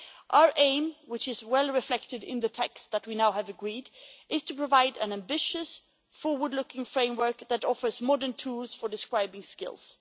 Our aim, which is well reflected in the text that we have now agreed, is to provide an ambitious, forward-looking framework that offers modern tools for describing skills.